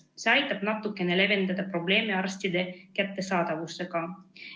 See aitab natukenegi leevendada arstide kättesaadavuse probleemi.